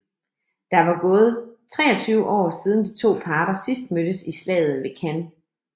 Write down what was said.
Der var gået 23 år siden de to parter sidst mødtes i slaget ved Cannae